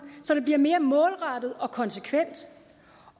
så den bliver mere målrettet og konsekvent